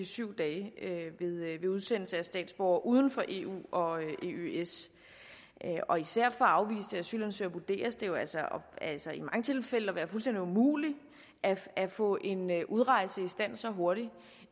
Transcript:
syv dage ved udsendelse af statsborgere uden for eu og eøs især for afviste asylansøgere vurderes det jo altså altså i mange tilfælde at være fuldstændig umuligt at få en udrejse i stand så hurtigt